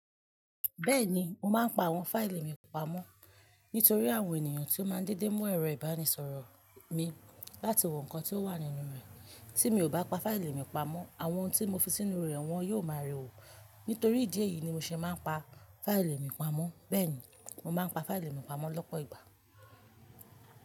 Bẹ́ẹ̀ni, mo máa ń pa àwọn fáìlì mi pamọ́ nítorí àwọn ènìyàn tí ó máa ń dédé mú ẹ̀rọ ìbánisọ̀rọ̀ mi láti wo nǹkan tí ó wà nínú rẹ̀. Tí mi ò bá pa fáìlì mi pamọ́, àwọn ohun tí mo fi sínú rẹ̀, wọ́n yóò máa rẹ̀ wò. Nítorí ìdí èyí ni mo ṣe máa ń pa fáìlì mi pamọ́. Bẹ́ẹ̀ ni, mo máa ń pa fáìlì mi pamọ́ lọ́pọ̀ ìgbà.